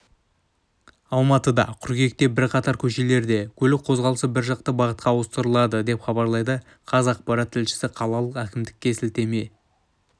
алматыда қыркүйекте бірқатар көшелерде көлік қозғалысы біржақты бағытқа ауыстырылады деп хабарлайды қазақпарат тілшісі қалалық әкімдікке сілтеме